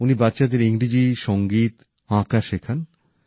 উনি বাচ্চাদের ইংরেজি সঙ্গীত ছবি আঁকা শেখান